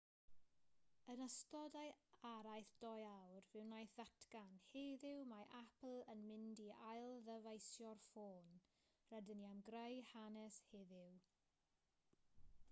yn ystod ei araith 2 awr fe wnaeth ddatgan heddiw mae apple yn mynd i ailddyfeisio'r ffôn rydyn ni am greu hanes heddiw